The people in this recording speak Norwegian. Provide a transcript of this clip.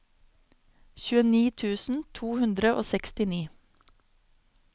tjueni tusen to hundre og sekstini